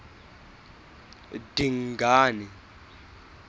dingane